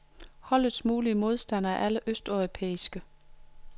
Holdets mulige modstandere er alle østeuropæiske.